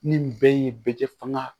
Ni bɛɛ ye bɛɛ kɛ fanga